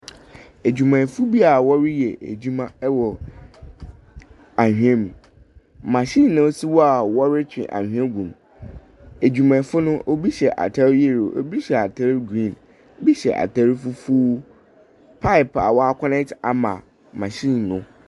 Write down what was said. Adwumayɛfoɔ bi a wɔreyɛ adwuma wɔ anwea mu. Machine na ɛsi hɔ a wɔretwe anwea gum. Adwumayɛfoɔ no, obi hyɛ atare yellow, obi hyɛ atare green, ebi hyɛ atare fufuo. Pipe a wɔakɔnɛɛte ama machine no.